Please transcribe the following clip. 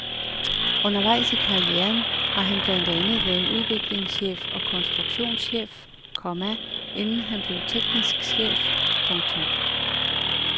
Undervejs i karrieren har han blandt andet været udviklingschef og konstruktionschef, komma inden han blev teknisk chef. punktum